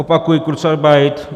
Opakuji - kurzarbeit.